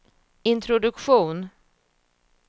introduktion